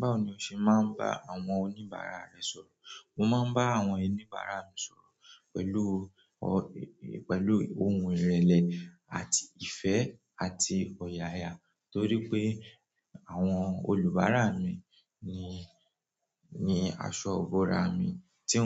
Báwo ni o ṣe máa ń bá àwọn oníbàárà rẹ sọ̀rọ̀? Mo máa ń bá àwọn oníbàárà mi sọ̀rọ̀ pẹ̀lú, pẹ̀lú ohun ìrẹ̀lẹ̀ àti ìfẹ́ àti ọ̀yàyà torí pé àwọn olùbárà mi ni, ni aṣọ ibòòra mi tí